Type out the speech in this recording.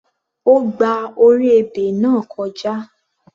Ó gba orí ebè náà kọjá.